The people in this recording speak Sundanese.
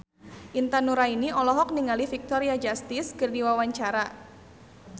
Intan Nuraini olohok ningali Victoria Justice keur diwawancara